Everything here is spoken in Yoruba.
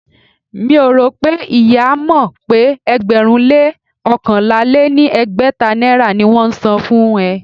Mi ò rò pé ìyá e mọ̀ pé ẹgbẹ̀rún-lé-oókànlá-lé-ní-ẹgbẹ́ta naira ni wón ń san fún ẹ.